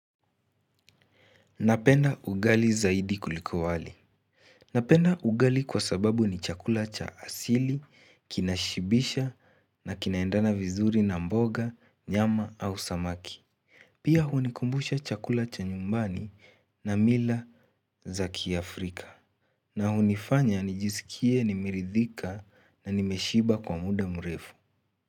Napenda ugali zaidi kuliko wali. Napenda ugali kwa sababu ni chakula cha asili, kinashibisha na kinaendana vizuri na mboga, nyama au samaki. Pia hunikumbusha chakula cha nyumbani na mila za kiafrika na hunifanya nijisikie, nimeridhika na nimeshiba kwa muda mrefu.